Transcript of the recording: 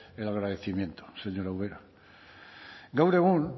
el agradecimiento señora ubera gaur egun